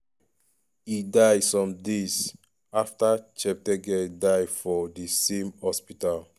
e die some days aftacheptegei die for di same hospital.